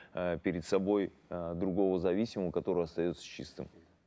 э перед собой э другого зависимого который остается чистым